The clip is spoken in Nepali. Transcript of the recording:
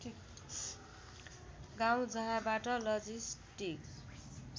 गाउँँ जहाँबाट लजिस्टिक